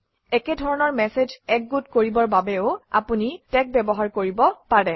একেধৰণৰ মেচেজ একগোট কৰিবৰ বাবেও আপুনি টেগ ব্যৱহাৰ কৰিব পাৰে